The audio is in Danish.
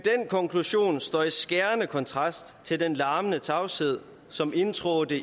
konklusion står i skærende kontrast til den larmende tavshed som indtrådte